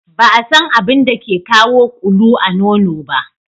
Ba a San abin da ke kawo ƙulu a nono ba.